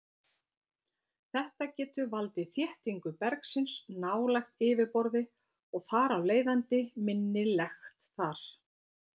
Þetta getur valdið þéttingu bergsins nálægt yfirborði og þar af leiðandi minni lekt þar.